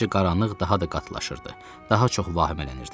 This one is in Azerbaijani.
Getdikcə qaranlıq daha da qatılaşırdı, daha çox vahimələnirdim.